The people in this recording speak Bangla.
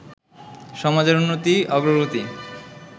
সমাজের উন্নতি, অগ্রগতি